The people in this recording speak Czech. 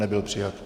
Nebyl přijat.